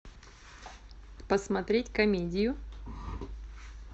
посмотреть комедию